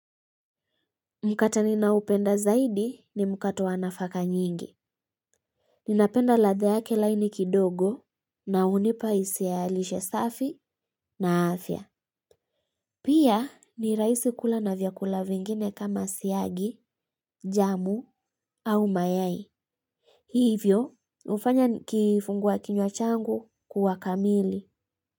Mkate ninaoupenda zaidi ni mkate wa nafaka nyingi. Ninapenda ladha yake laini kidogo na unipa hisia ya lishe safi na afya. Pia ni rahisi kula na vyakula vingine kama siagi, jamu au mayai. Hiivyo hufanya kifungua kinywa changu kuwa kamili.